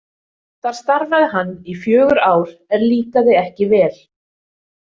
Þar starfaði hann í fjögur ár en líkaði ekki vel.